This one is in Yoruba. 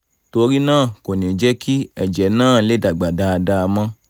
torí náà kò ní jẹ́ kí ẹ̀jẹ̀ náà lè dàgbà dáadáa mọ́